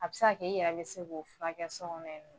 A bɛ se k'a kɛ i yɛrɛ bɛ se k'o fura kɛ sokɔnɔ.